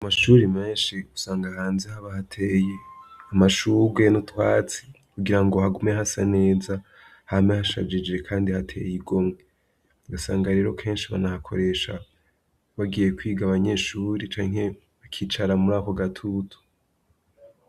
Amashure menshi usanga hanze haba hateye amashugwe n'utwatsi kugirango hagume hasa neza, hame hashajije kandi hateye igomwe. Ugasanga rero kenshi banahakoresha bagiye kwiga abanyeshure canke bakicara muri ako gatutu.